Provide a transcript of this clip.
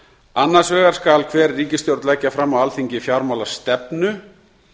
annars vegar skal hver ríkisstjórn leggja fram á alþingi fjármálastefnu